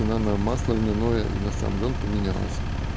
цена на масло льняное и на сам лён поменялось